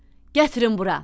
Gətirin bura.